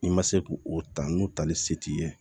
I ma se k'o o ta n'o tali se t'i ye